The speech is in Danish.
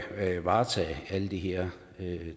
varetage alle de her